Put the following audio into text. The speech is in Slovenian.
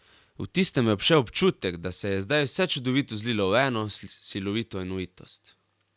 V tistem me je obšel občutek, da se je zdaj vse čudovito zlilo v eno, silovito enovitost.